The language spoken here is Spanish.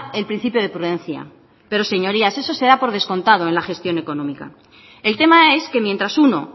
el principio de prudencia pero señorías eso se da por descontado en la gestión económica el tema es que mientras uno